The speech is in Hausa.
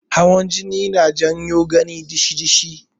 Hawan jini yana jawo gani dishi-dishi.